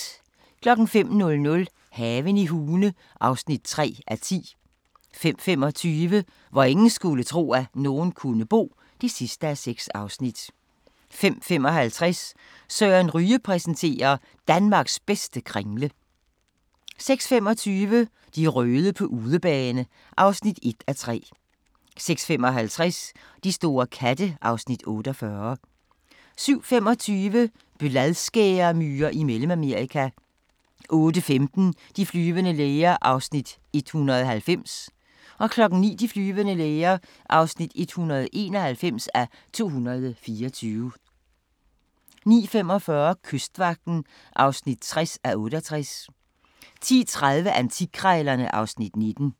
05:00: Haven i Hune (3:10) 05:25: Hvor ingen skulle tro, at nogen kunne bo (6:6) 05:55: Søren Ryge præsenterer: Danmarks bedste kringle 06:25: De røde på udebane (1:3) 06:55: De store katte (Afs. 48) 07:25: Bladskæremyrer i Mellemamerika 08:15: De flyvende læger (190:224) 09:00: De flyvende læger (191:224) 09:45: Kystvagten (60:68) 10:30: Antikkrejlerne (Afs. 19)